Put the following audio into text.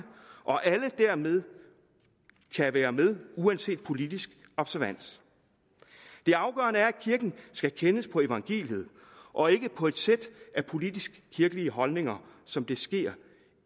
og at alle dermed kan være med uanset politisk observans det afgørende er at kirken skal kendes på evangeliet og ikke på et sæt af politisk kirkelige holdninger som det sker